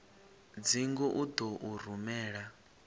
dzingu u ḓo u rumela